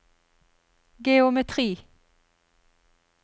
geometri